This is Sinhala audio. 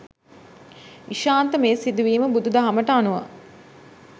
ඉෂාන්ත මේ සිදුවීම බුදු දහමට අනුව